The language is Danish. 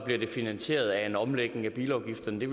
bliver det finansieret af en omlægning af bilafgifterne det